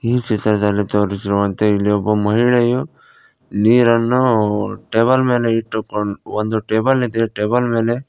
ಈ ಚಿತ್ರದಲ್ಲಿ ತೋರಿಸಿರುವಂತೆ ಇಲ್ಲಿ ಒಬ್ಬ ಮಹಿಳೆಯು ನೀರನ್ನು ಟೇಬಲ್ ಮೇಲೆ ಇಟ್ಟುಕೊಂಡ ಒಂದು ಟೇಬಲ್ ಇದೆ ಟೇಬಲ್ ಮೇಲೆ --